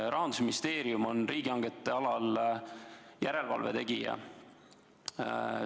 Rahandusministeerium on riigihangete alal järelevalve tegija.